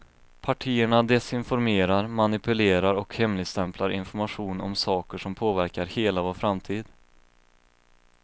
Partierna desinformerar, manipulerar och hemligstämplar information om saker som påverkar hela vår framtid.